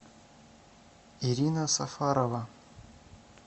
ирина сафарова